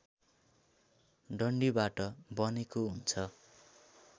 डन्डीबाट बनेको हुन्छ